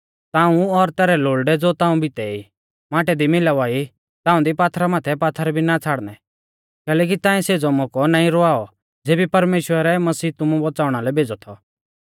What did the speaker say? ताऊं और तैरै लोल़डै ज़ो ताऊं भितै ई माटै दी मिलावा ई ताऊं दी पात्थरा माथै पात्थर भी ना छ़ाड़नै कैलैकि ताऐं सेज़ौ मौकौ नाईं रवावौ ज़ेबी परमेश्‍वरै मसीह तुमु बौच़ाउणा लै भेज़ौ थौ